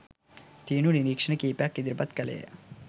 තියුණු නිරීක්ෂණ කිහිපයක් ඉදිරිපත් කළේය